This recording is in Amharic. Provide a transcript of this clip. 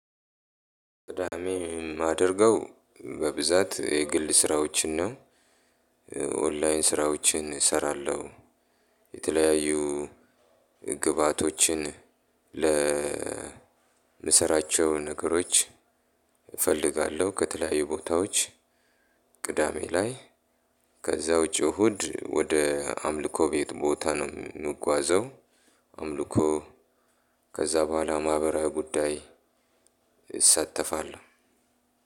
ማደርገው በብዛት የግል ስራዎችን ነው። ኦንላይን ስራዎችን እሰራለሁ። የተለያዩ ግብአቶችን ለ ለምሰራቸው ነገሮች እፈልጋለሁ ከተለያዩ ቦታዎች ቅዳሜ ላይ ከዛ ውጪ እሁድ ወደ አምልኮ ቤት ቦታ ነው የምጓዘው። አምልኮ ከዛ በኋላ ማህበራዊ ጉዳይ። እሳተፋለሁ።